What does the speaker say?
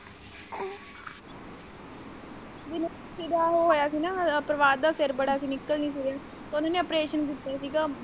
ਇਹਦਾ ਉਹ ਹੋਇਆ ਸੀ ਨਾ ਪ੍ਰਭਾਤ ਦਾ ਫੇਰ ਅਸੀਂ ਬੜਾ ਨਿਕਲ ਨਹੀਂ ਹੋਇਆ ਤੇ ਉਹਨਾਂ ਨੇ operation ਕੀਤਾ ਸੀਗਾ।